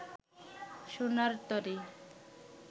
সোনার তরী